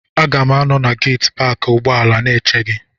Aga m anọ na geeti paakị ụgbọala na-eche gị.